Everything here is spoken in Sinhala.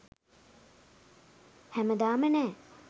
හැමදාම නෑ